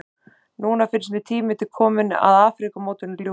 Núna finnst mér tími kominn til að Afríkumótinu ljúki.